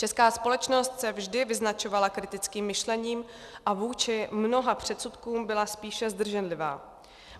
Česká společnost se vždy vyznačovala kritickým myšlením a vůči mnoha předsudkům byla spíše zdrženlivá.